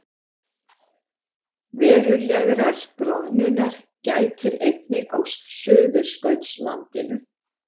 Verulegrar bráðnunar gætir einnig á Suðurskautslandinu